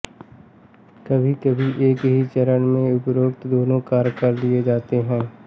कभीकभी एक ही चरण में उपरोक्त दोनों कार्य कर लिए जाते हैं